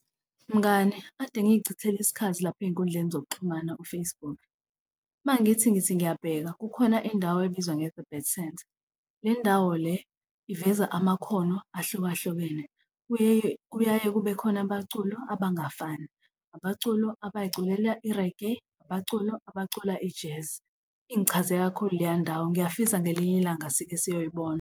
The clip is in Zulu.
Mngani, kade ngiyichithela isikhathi lapho ey'nkundleni zokuxhumana u-Facebook. Uma ngithi ngithi ngiyabheka kukhona indawo ebizwa nge-Rebirth Centre. Le ndawo le iveza amakhono ahlukahlukene kuye, kuyaye kube khona abaculo abangafani, abaculo abayiculela i-reggae, abaculo abacula i-jazz. Ingichaze kakhulu leya ndawo. Ngiyafisa ngelinye ilanga sikesiyoyibona.